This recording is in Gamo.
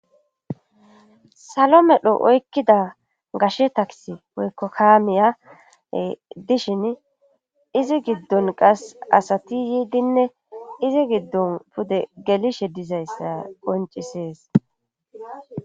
Salo medho oykkida gashe taks oykko kaamiyae dishin izi giddon qas asati yiidinne izi giddon pude gelishe dizayssa qoncisees